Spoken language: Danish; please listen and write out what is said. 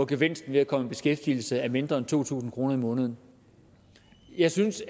gevinsten ved at komme i beskæftigelse er mindre en to tusind kroner om måneden jeg synes